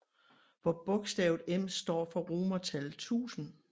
Hvor bogstavet M står for romertallet 1000